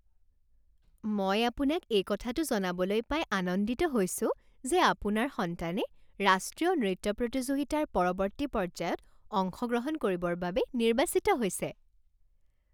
মই আপোনাক এই কথাটো জনাবলৈ পাই আনন্দিত হৈছো যে আপোনাৰ সন্তানে ৰাষ্ট্ৰীয় নৃত্য প্ৰতিযোগিতাৰ পৰৱৰ্তী পৰ্য্যায়ত অংশগ্ৰহণ কৰিবৰ বাবে নিৰ্বাচিত হৈছে